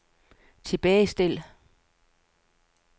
tilbagestil